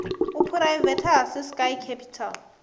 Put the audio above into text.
u phuraivethiwa ha ciskei capital